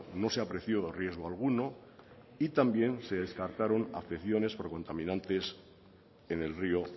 no se apreció riesgo alguno y también se descartaron afecciones por contaminantes en el río